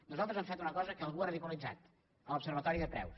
nosaltres hem fet una cosa que algú ha ridiculitzat l’observatori de preus